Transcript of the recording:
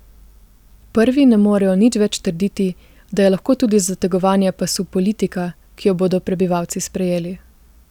Prvi ne morejo nič več trditi, da je lahko tudi zategovanje pasu politika, ki jo bodo prebivalci sprejeli.